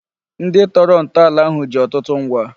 Ndị tọrọ ntọala ahụ ji ọtụtụ ngwa